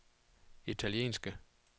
italienske